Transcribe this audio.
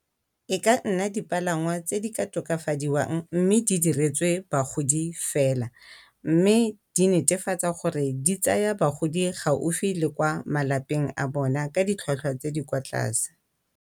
E ka nna dipalangwa tse di ka tokafadiwang, mme di diretswe bagodi fela. Mme di netefatsa gore di tsaya bagodi gaufi le kwa malapeng a bona ka ditlhwatlhwa tse di kwa tlase.